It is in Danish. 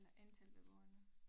Eller antal beboerne